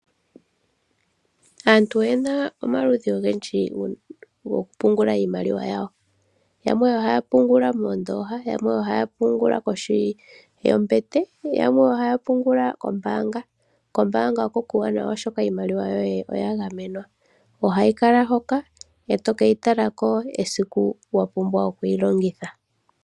Aantu oye na omaludhi ogendji goku pungula iimaliwa yawo. Yamwe oha ya pungula mondoosha , yamwe oha ya pungula koshi yombete , yamwe ohaa pungula kombaanga. Kombaanga oko kuuwanawa, oshoka iimaliwa yoye oya gamenwa. Oha yi kala hoka, e toke yi tala ko uuna wa hala oku yi longitha.